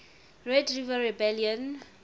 red river rebellion